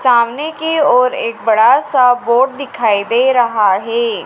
सामने की ओर एक बड़ा सा बोर्ड दिखाई दे रहा है।